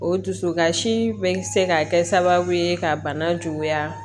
O dusukasi bɛ se ka kɛ sababu ye ka bana juguya